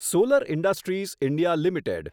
solar industries India limited